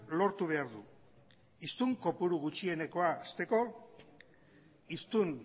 lortu behar du hiztun kopuru gutxienekoa hasteko hiztun